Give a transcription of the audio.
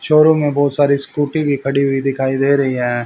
Showroom में बहुत सारी स्कूटी भी खड़ी हुई दिखाई दे रही है।